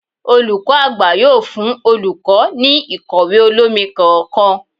Olukọni àgbá yóò fún olukọ, ní ikọwe olomí kọọkan